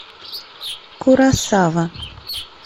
куросава